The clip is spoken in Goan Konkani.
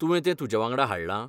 तुवें तें तुजेवांगडा हाडलां?